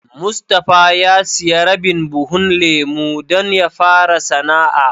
Mustapha ya siya rabin buhun lemu don ya fara sana'a.